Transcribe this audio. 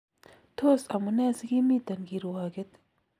3)Tos amunee sikimiten kirwakeet?